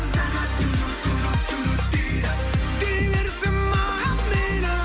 сағат дейді дей берсін маған мейлі